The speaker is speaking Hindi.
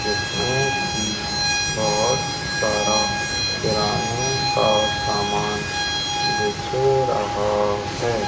जिसमें कि बहोत सारा किराने का सामान दिख रहा है।